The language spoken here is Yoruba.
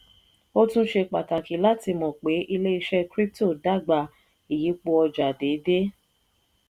ó tún ṣe pàtàkì láti mọ̀ pé ilé-iṣẹ́ crypto dàgbà ìyípò ọjà déédé.